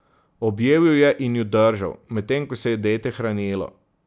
Objel ju je in ju držal, medtem ko se je dete hranilo.